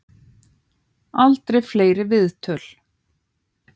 Aldrei fleiri viðtöl